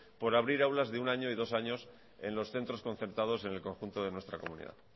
por abrir aulas de un año y dos años en los centros concertados en el conjunto de nuestra comunidad